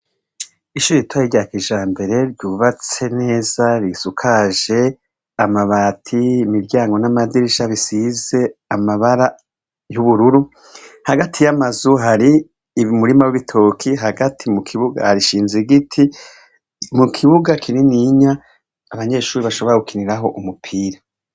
Ishure ritoya rya kijambere, ryubatse neza, risakajwe amabati, imiryango n'amadirisha bisize amabara y'ubururu, hagati y'amazu hari umurima w'ibitoke. Hagati mukibuga, hashinze igiti mukibuga kininiya abanyeshure bashobora gukiniraho umupira.